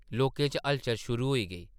लोकें च हलचल शुरू होई ।